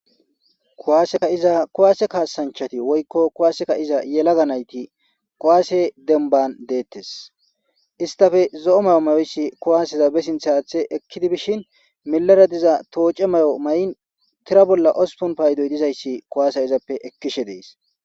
Kuwaaseka iza kuwaase kaasanchati woykko kuwaaseka iza yelaga nayti qowaase denban deettes istafe zo'o mayo mayoyssi kuwaaseza be sinthaaathe ekkidi bishin milara diza tooce mayo ma'in tira bolla ospon paydoy dizayssi kuwaasa izappe ekkishe dees.